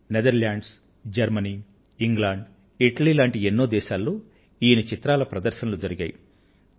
ఈయన చిత్రాల ప్రదర్శనలు Netherlands Germany England Italy ల వంటి ఎన్నో దేశాలలో జరిగాయి